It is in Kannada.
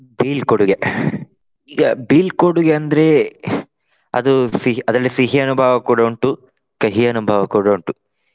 ಬೀಳ್ಕೊಡುಗೆ ಈಗ ಬೀಳ್ಕೊಡುಗೆ ಅಂದ್ರೆ ಅದು ಸಿಹಿ ಅದ್ರಲ್ಲಿ ಸಿಹಿ ಅನುಭವ ಕೂಡ ಉಂಟು ಕಹಿ ಅನುಭವ ಕೂಡ ಉಂಟು.